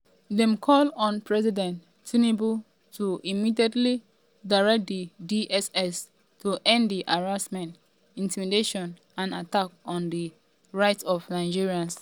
dem call on “president tinubu to immediately direct di dss to end di harassment intimidation and attack on di rights of nigerians”.